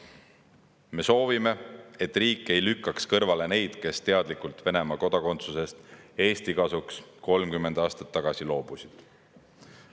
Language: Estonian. Me soovime, et riik ei lükkaks kõrvale neid, kes 30 aastat tagasi teadlikult Venemaa kodakondsusest Eesti kasuks loobusid.